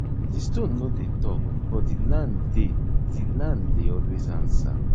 di stone no dey talk but di land dey di land dey always answer